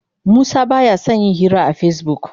Musa ba ya son yin hira a Facebook.